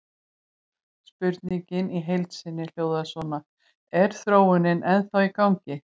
Spurningin í heild sinni hljóðaði svona: Er þróunin ennþá í gangi?